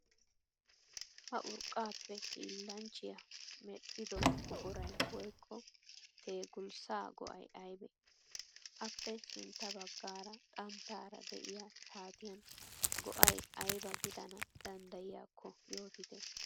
Ha urqqaappe hiillanchchiya mel'ido buquray woyikko teegulssaa go'ay ayibe? Aappe sintta baggaara xanttaara diya shaatiyan go'ay ayiba gidana danddayiyakko yootite?